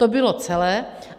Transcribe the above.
To bylo celé.